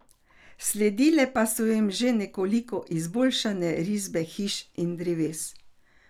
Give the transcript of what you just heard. Sledile pa so jim že nekoliko izboljšane risbe hiš in dreves.